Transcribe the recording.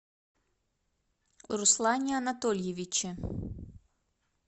руслане анатольевиче